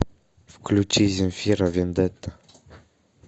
включи земфира вендетта